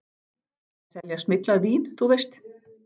Að selja smyglað vín, þú veist.